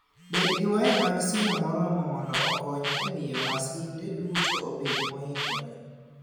Bed gi waya mag simo moromo mondo okony e miyo masinde duto obed moikore.